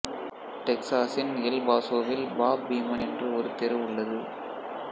டெக்சாஸின் எல் பாஸோவில் Bob Beamon என்று ஒரு தெரு உள்ளது